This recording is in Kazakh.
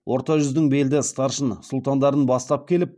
орта жүздің белді старшын сұлтандарын бастап келіп